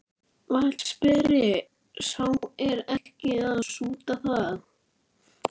VATNSBERI: Sá er ekki að súta það.